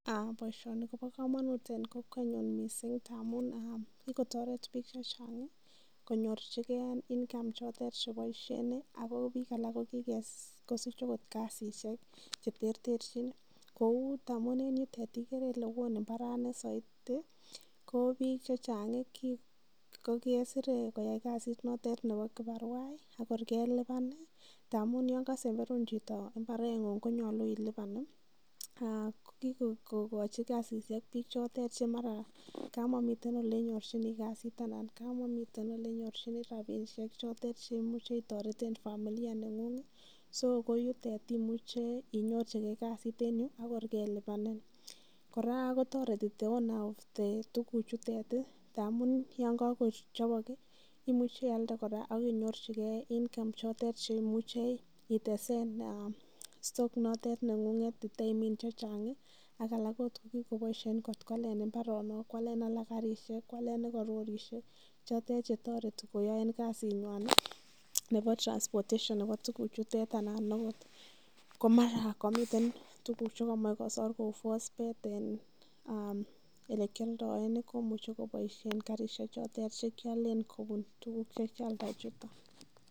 Boisioni kobo komonut en kowket mising ngamun kigotoret biik che chang konyorchigen income chotet che boisien ago biik alak ko kigosich agot kasishek che terterjin kou ngamun enyutet igere ile won mbarani soiti, ko biik che chang ko kesire koyai kasit notet nebo kibarwa ak tor kelipan ngamun yon kosemberun chito mbareng'ung konyolu ilipan. Ko kigokochi kasishek biik chotet che mara komomiten ele nyorjin kasit anan kamomitenele nyorjin rabishek chotet che imuche itoreten familia neng'ung so ko yutet imuche inyorjige kasit en yu ak kor kelipanin. Kora kotoreti the owner of tuguchutet ngamun yon kogochobok imuche ialde kora ak inyorchige income chotet che imuche itesen stoock notet neng'ung'et iteimin che chang ak alak ko tebi koboisien koalen mbaronok, koalen alak karishek, koalen alak rorishek chotet che toreti koyaen kasinywan nebo transportation nebo tuguchutet anan ogot komara komiten tuguk che komoche kosor kou phosphate en ele kioldoen komuche ko boishen karishek chotet che kiolen kobun tuguk ye kyalda chuton.